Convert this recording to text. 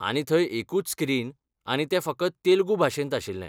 आनी थंय एकूच स्क्रीन आनी तें फकत तेलुगू भाशेंत आशिल्लें.